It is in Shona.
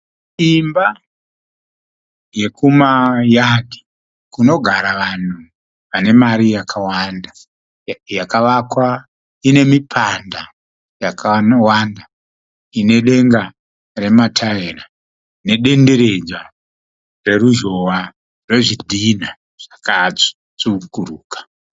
Imba yekumayadhi kunogara vanhu vane mari yakawanda. Yakavakwa ine mipanda yakawanda ine denga remataira nedenderedzwa reruzhowa rwezvidhinha zvakatsvukuruka.